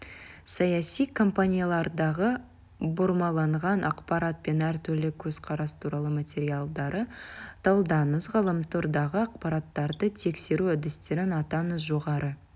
саяси компаниялардағы бұрмаланған ақпарат пен әртүрлі көзқарас туралы материалдарды талдаңыз ғаламтордағы ақпараттарды тексеру әдістерін атаңыз жоғары